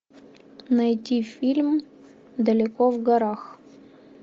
найти фильм далеко в горах